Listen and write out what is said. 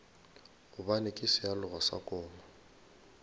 gobane ke sealoga sa koma